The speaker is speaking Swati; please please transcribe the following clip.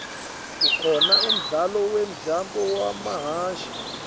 kukhona umdlalo wemjaho wamahashi